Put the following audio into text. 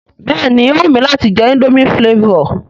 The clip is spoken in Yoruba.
Béèni ó wù mi láti je indomie flavour